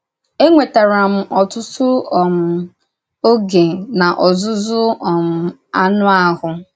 Énwètàrà m ọ̀tụ̀tụ̀ um ógè n’ọzụ́zụ́ um ànụ̀ áhụ̀.